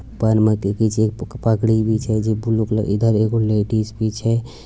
म की कहे छे प पगड़ी भी छे बुल्लू कलर इधर एगो लेडीज भी छे|